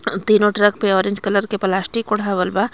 तीनों ट्रक पर orange colour के प्लास्टिक ओढावल बा.